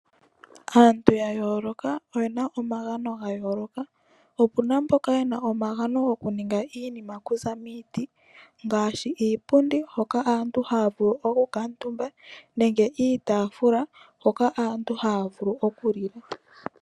Aantu yayooloka oyena omagano gayooloka . Opuna mboka yena omagano okuninga iinima okuza miiti ngaashi iipundi hoka aantu haya vulu okukuutumba nenge iitaafula hoka aantu haya vulu okulila.